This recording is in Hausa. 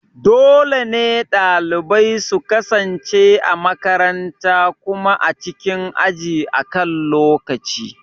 Dole ne dalibai su kasance a makaranta kuma a cikin aji akan lokaci.